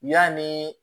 U y'a nii